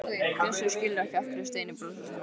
Bjössi skilur ekki af hverju Steini brosir svona.